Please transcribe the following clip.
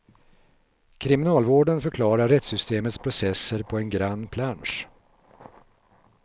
Kriminalvården förklarar rättssystemets processer på en grann plansch.